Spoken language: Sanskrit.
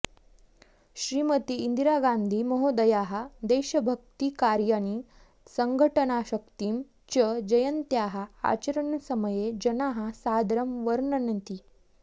श्रीमती इन्दिरागान्धि महोदयायाः देशभक्तिकार्याणि सड्घटनाशक्तिं च जयन्त्याः आचरणसमये जनाः सादरं वर्णयन्ति